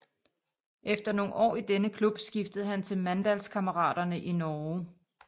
Efter nogle år i denne klub skiftede han til Mandalskameratene i Norge